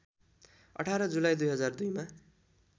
१८ July २००२ मा